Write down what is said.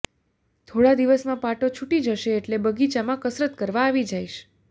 થોડા દિવસમાં પાટો છુટી જશે એટલે બગાચામાં કસરત કરવા આવી જઇશ